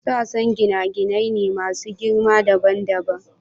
Sassa gine-gine ne masu girma dabam dabam.